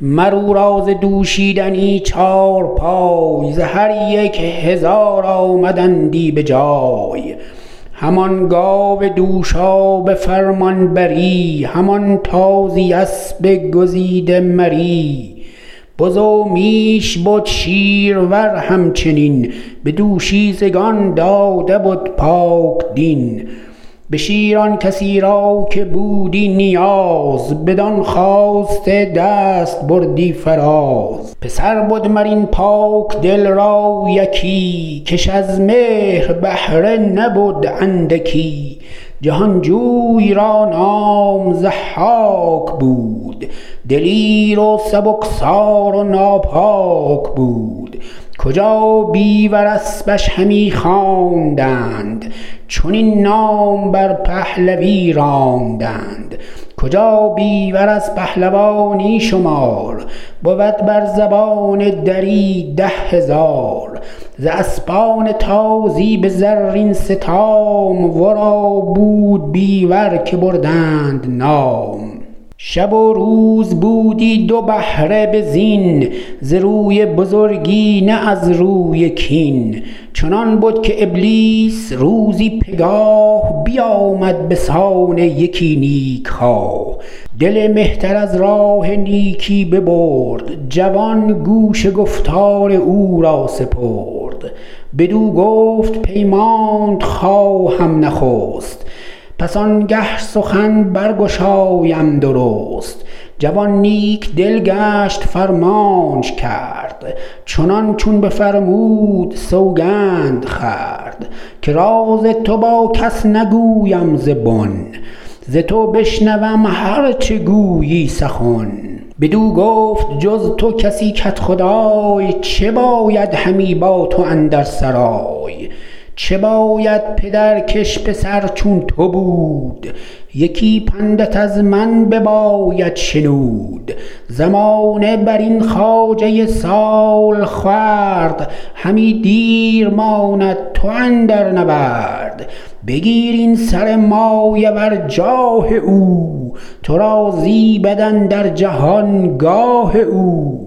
مر او را ز دوشیدنی چارپای ز هر یک هزار آمدندی به جای همان گاو دوشا به فرمانبری همان تازی اسب گزیده مری بز و میش بد شیرور همچنین به دوشیزگان داده بد پاکدین به شیر آن کسی را که بودی نیاز بدان خواسته دست بردی فراز پسر بد مر این پاکدل را یکی کش از مهر بهره نبود اندکی جهانجوی را نام ضحاک بود دلیر و سبکسار و ناپاک بود کجا بیور اسپش همی خواندند چنین نام بر پهلوی راندند کجا بیور از پهلوانی شمار بود بر زبان دری ده هزار ز اسپان تازی به زرین ستام ورا بود بیور که بردند نام شب و روز بودی دو بهره به زین ز روی بزرگی نه از روی کین چنان بد که ابلیس روزی پگاه بیامد به سان یکی نیک خواه دل مهتر از راه نیکی ببرد جوان گوش گفتار او را سپرد بدو گفت پیمانت خواهم نخست پس آنگه سخن برگشایم درست جوان نیک دل گشت فرمانش کرد چنان چون بفرمود سوگند خورد که راز تو با کس نگویم ز بن ز تو بشنوم هر چه گویی سخن بدو گفت جز تو کسی کدخدای چه باید همی با تو اندر سرای چه باید پدر کش پسر چون تو بود یکی پندت از من بباید شنود زمانه برین خواجه سالخورد همی دیر ماند تو اندر نورد بگیر این سر مایه ور جاه او تو را زیبد اندر جهان گاه او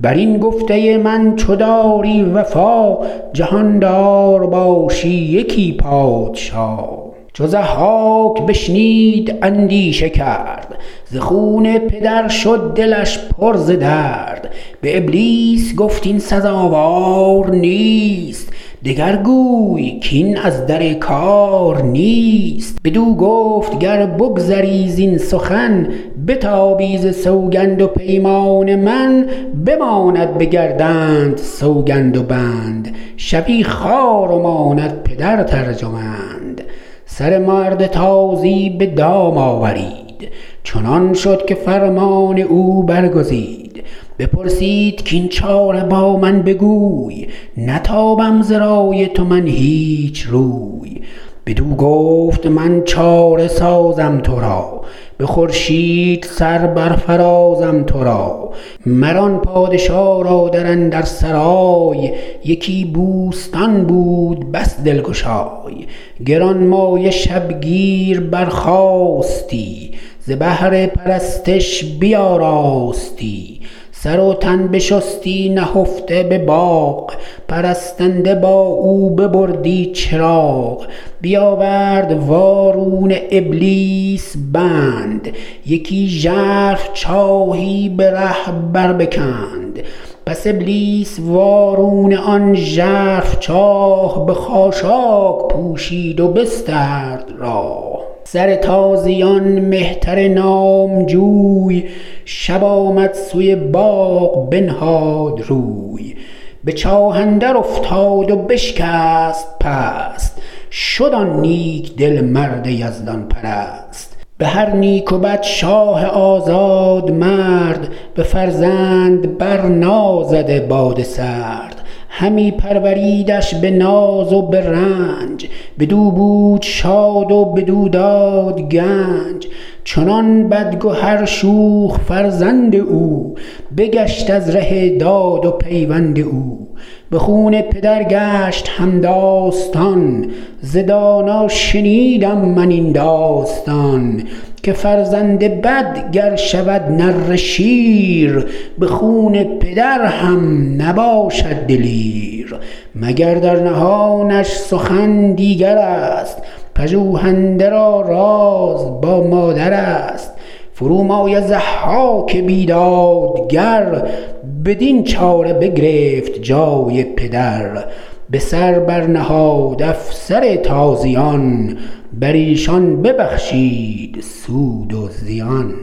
بر این گفته من چو داری وفا جهاندار باشی یکی پادشا چو ضحاک بشنید اندیشه کرد ز خون پدر شد دلش پر ز درد به ابلیس گفت این سزاوار نیست دگر گوی کاین از در کار نیست بدو گفت گر بگذری زین سخن بتابی ز سوگند و پیمان من بماند به گردنت سوگند و بند شوی خوار و ماند پدرت ارجمند سر مرد تازی به دام آورید چنان شد که فرمان او برگزید بپرسید کاین چاره با من بگوی نتابم ز رای تو من هیچ روی بدو گفت من چاره سازم ترا به خورشید سر برفرازم ترا مر آن پادشا را در اندر سرای یکی بوستان بود بس دلگشای گرانمایه شبگیر برخاستی ز بهر پرستش بیاراستی سر و تن بشستی نهفته به باغ پرستنده با او ببردی چراغ بیاورد وارونه ابلیس بند یکی ژرف چاهی به ره بر بکند پس ابلیس وارونه آن ژرف چاه به خاشاک پوشید و بسترد راه سر تازیان مهتر نامجوی شب آمد سوی باغ بنهاد روی به چاه اندر افتاد و بشکست پست شد آن نیک دل مرد یزدان پرست به هر نیک و بد شاه آزاد مرد به فرزند بر نازده باد سرد همی پروریدش به ناز و به رنج بدو بود شاد و بدو داد گنج چنان بدگهر شوخ فرزند او بگشت از ره داد و پیوند او به خون پدر گشت همداستان ز دانا شنیدم من این داستان که فرزند بد گر شود نره شیر به خون پدر هم نباشد دلیر مگر در نهانش سخن دیگرست پژوهنده را راز با مادرست فرومایه ضحاک بیدادگر بدین چاره بگرفت جای پدر به سر بر نهاد افسر تازیان بر ایشان ببخشید سود و زیان